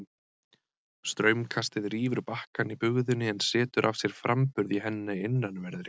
Straumkastið rýfur bakkann í bugðunni en setur af sér framburð í henni innanverðri.